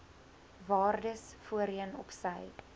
waardes voorheen opsy